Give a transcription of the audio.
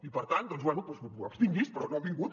i per tant doncs bé abstingui·s’hi però no han vingut